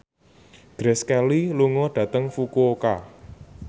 Grace Kelly lunga dhateng Fukuoka